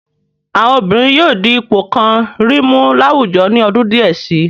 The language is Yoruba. Àwọn obìnrin yóò di ipò kàn-àn-rìn mú láwùjọ ní ọdún díẹ̀ si.